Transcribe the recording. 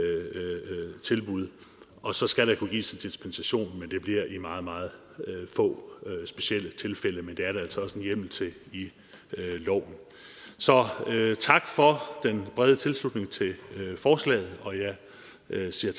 at tilbud og så skal der kunne gives en dispensation men det bliver i meget meget få specielle tilfælde men det er der altså hjemmel til i loven så tak for den brede tilslutning til forslaget og jeg siger